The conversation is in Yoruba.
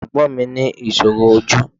Ẹ̀gbọ́n mi ní ìṣòro ojú